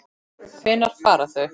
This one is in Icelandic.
Hvenær fara þau?